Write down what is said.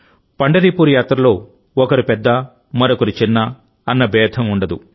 పండరిపూర్ యాత్రలో ఒకరు పెద్ద మరొకరు చిన్న అన్న భేదం ఉండదు